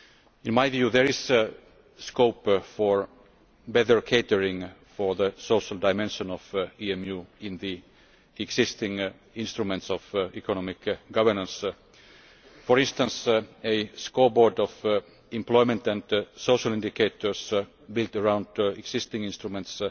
In my view, there is scope for better catering for the social dimension of the EMU in the existing instruments of economic governance. For instance, a scoreboard of employment and social indicators built around existing instruments